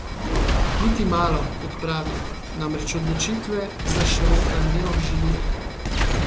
Niti malo, kot pravi, namreč odločitve za Šrota ne obžaluje.